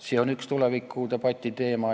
See on üks tuleviku debati teema.